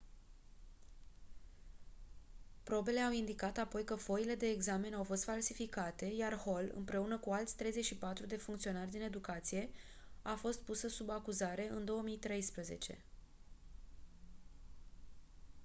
probele au indicat apoi că foile de examen au fost falsificate iar hall împreună cu alți 34 de funcționari din educație a fost pusă sub acuzare în 2013